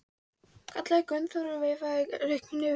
kallaði Gunnþór og veifaði rekunni yfir höfði sér.